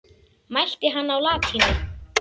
Mælti hann á latínu.